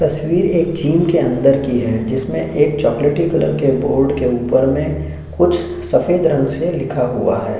ये तस्वीर एक झील के अंदर की है जिसमें एक चॉकलेटी कलर के बोर्ड के ऊपर में कुछ सफेद रंग से लिखा हुआ है।